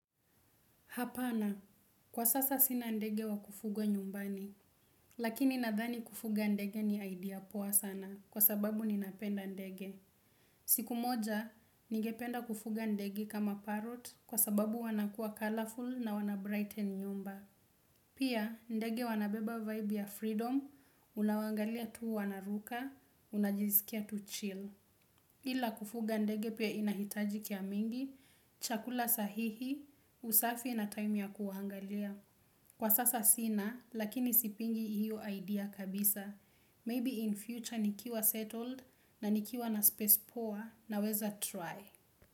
Hapana, kwa sasa sina ndege wa kufuga nyumbani, lakini nadhani kufuga ndege ni idea poa sana kwa sababu ninapenda ndege. Siku moja, nige penda kufuga ndege kama parot kwa sababu wanakua colorful na wanabrighten nyumba. Pia, ndege wanabeba vibe ya freedom, unawangalia tuu wana ruka, unajizikia tu chill. Ila kufuga ndege pia inahitaji kia mingi, chakula sahihi, usafi na time ya kuwaangalia. Kwa sasa sina, lakini sipingi hiyo idea kabisa. Maybe in future nikiwa settled na nikiwa na space poa naweza try.